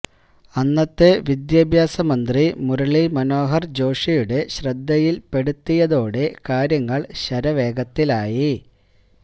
അന്നത്തെ വിദ്യാഭ്യാസമന്ത്രി മുരളി മനോഹര് ജോഷി യുടെ ശ്രദ്ധയില് പെടുത്തിയതോടെ കാര്യങ്ങള് ശരവേഗത്തിലായി